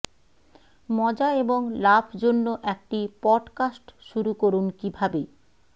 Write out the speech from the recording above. মজা এবং লাভ জন্য একটি পডকাস্ট শুরু করুন কিভাবে